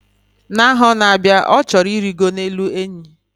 Na aho n; abia, o choro irigo elu enyi